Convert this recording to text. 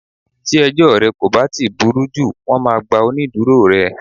Tí ẹjọ́ rẹ kò bá burú jù, wón máa gba onídùúró rẹ.